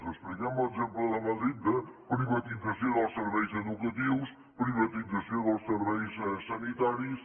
expliquem l’exemple de madrid de privatització dels serveis educatius privatització dels serveis sanitaris